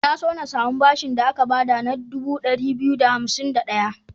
Na so na samu bashin da aka ba da na dubu ɗari biyu da hansim da ɗaya.